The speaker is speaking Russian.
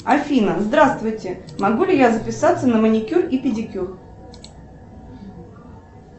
афина здравствуйте могу ли я записаться на маникюр и педикюр